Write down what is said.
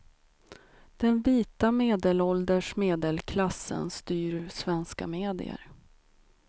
Den vita medelålders medelklassen styr svenska medier.